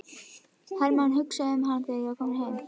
Hermann hugsaði um hana þegar hann var kominn heim.